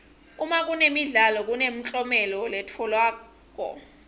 uma kunemidlalo kunemklomelo letfolwako